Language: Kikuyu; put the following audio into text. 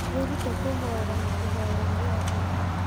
Wĩrute kwĩhoera na kũhoera arĩa angĩ